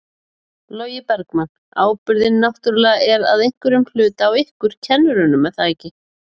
Logi Bergmann: Ábyrgðin náttúrulega er að einhverjum hluti á ykkur kennurum er það ekki?